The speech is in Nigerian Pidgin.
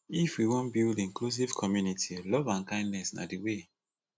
if we wan build inclusive community love and kindness na de way